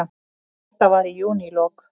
Þetta var í júnílok.